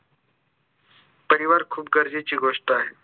परिवार खूप गरजेची गोष्ट आहे